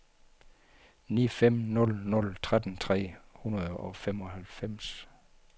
ni fem nul nul tretten tre hundrede og femoghalvfems